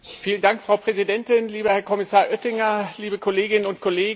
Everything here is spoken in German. Frau Präsidentin, lieber Herr Kommissar Oettinger, liebe Kolleginnen und Kollegen.